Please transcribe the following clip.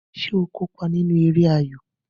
Ṣé o kópa nínú eré ayo?